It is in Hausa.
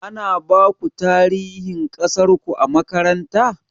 Ana baku tarihin ƙasarku a makaranta?